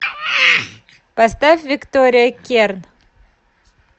поставь виктория керн